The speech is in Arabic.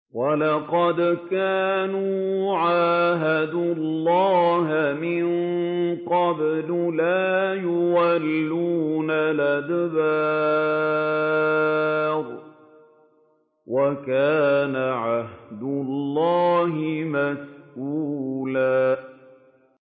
وَلَقَدْ كَانُوا عَاهَدُوا اللَّهَ مِن قَبْلُ لَا يُوَلُّونَ الْأَدْبَارَ ۚ وَكَانَ عَهْدُ اللَّهِ مَسْئُولًا